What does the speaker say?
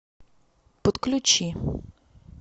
подключи